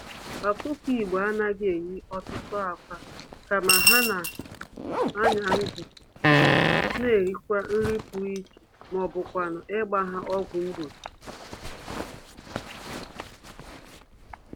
Ọkụkọ Igbo anaghị eyi ọtụtụ ákwà, kama, ha n'anya-ndụ n'erighì nri pụrụ iche mọbụkwanụ̀ ịgba ha ọgwụ mgbochi